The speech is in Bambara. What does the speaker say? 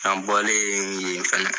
An bɔlen yen fɛnɛ